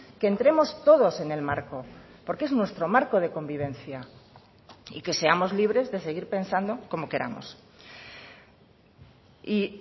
que entremos todos en el marco porque es nuestro marco de convivencia y que seamos libres de seguir pensando como queramos y